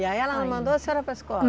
E aí ela mandou a senhora para escola?